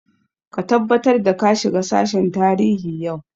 Ka tabbatar da ka shiga sashen tarihi yau!